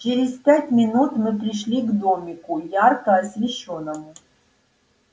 через пять минут мы пришли к домику ярко освещённому